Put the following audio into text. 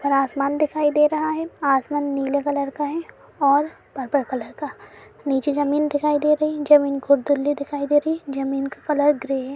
ऊपर आसमान दिखाय दे रहा हैं आसमान नीले कलर का हैं और परपल कलर का नीचे जमीन दिखाई दे रही हैं जो बहुत खुर्दली दिखाई दे रही हैं जमीन का कलर ग्रे हैं।